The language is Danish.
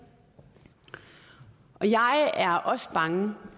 jeg er også bange